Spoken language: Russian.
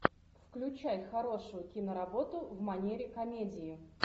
включай хорошую киноработу в манере комедии